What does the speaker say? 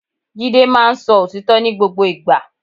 Jídé máa ń sọ òtítọ́ ní gbogbo ìgbà